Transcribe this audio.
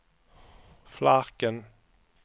Flarken